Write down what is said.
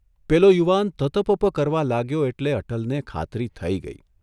પેલો યુવાન તત ૫૫ ક ર વા લાગ્યો એટલે અટલને ખાતરી થઇ ગઇ.